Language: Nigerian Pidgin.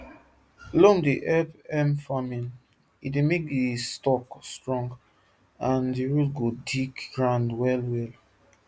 loam dey help hemp farming e dey make the stalk strong and the root go dig ground wellwell